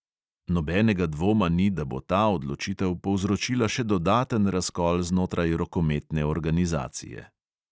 Nobenega dvoma ni, da bo ta odločitev povzročila še dodaten razkol znotraj rokometne organizacije.